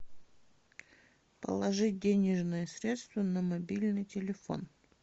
положить денежные средства на мобильный телефон